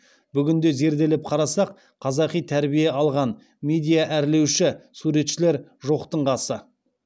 бүгінде зерделеп қарасақ қазақи тәрбие алған медиа әрлеуші суретшілер жоқтың қасы